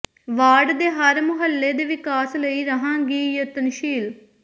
ward ਦੇ ਹਰ ਮੁਹੱਲੇ ਦੇ ਵਿਕਾਸ ਲਈ ਰਹਾਂਗੀ ਯਤਨਸ਼ੀਲ